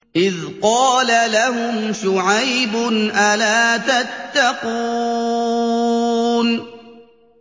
إِذْ قَالَ لَهُمْ شُعَيْبٌ أَلَا تَتَّقُونَ